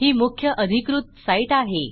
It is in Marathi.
ही मुख्य अधिकृत साईट आहे